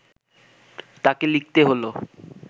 তাঁকে লিখতে হলো